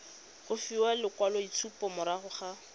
go fiwa lekwaloitshupo morago ga